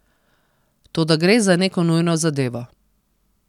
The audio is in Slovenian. Toda gre za neko nujno zadevo.